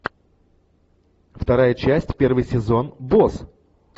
вторая часть первый сезон босс